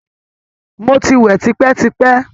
Mo ti wẹ̀ tipẹ́-tipẹ́!